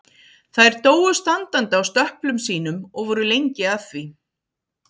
Þær dóu standandi á stöplum sínum og voru lengi að því.